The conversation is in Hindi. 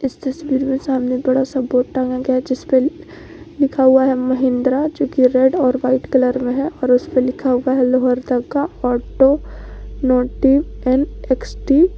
इस तस्वीर में सामने बड़ा सा बोर्ड टांगा गया है जिस पे लिखा हुआ है महिंद्रा जो कि रेड और व्हाइट कलर में है और उस पे लिखा हुआ है Lohardaga automotive and X T.